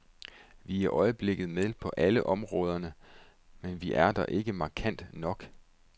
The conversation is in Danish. Vi er i øjeblikket med på alle områderne, men vi er der ikke markant nok.